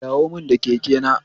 Dawo mun da kekena